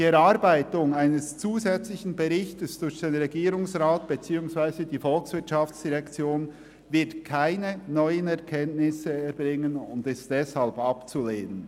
Die Erarbeitung eines zusätzlichen Berichts durch den Regierungsrat beziehungsweise die VOL wird keine neuen Erkenntnisse liefern und ist deshalb abzulehnen.